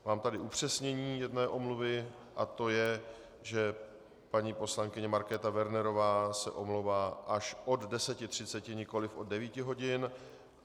Mám tady upřesnění jedné omluvy a to je, že paní poslankyně Markéta Wernerová se omlouvá až od 10.30, nikoliv od 9 hodin.